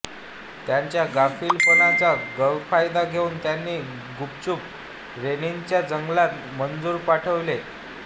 त्यांच्या गाफीलपणाचा गैरफायदा घेऊन त्यांनी गुपचूप रेनीच्या जंगलात मजूर पाठविले